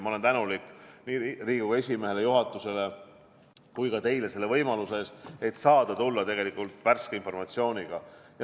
Ma olen tänulik nii Riigikogu esimehele, juhatusele kui ka teile selle võimaluse eest, et sain tulla tegelikult värske informatsiooniga.